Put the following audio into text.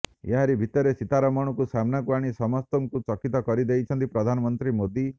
ଏହାରି ଭିତରେ ସୀତାରମଣଙ୍କୁ ସାମ୍ନାକୁ ଆଣି ସମସ୍ତଙ୍କୁ ଚକିତ କରିଦେଇଛନ୍ତି ପ୍ରଧାନମନ୍ତ୍ରୀ ମୋଦି